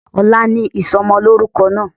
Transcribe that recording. Ọ̀la ni ìsomolórúko náà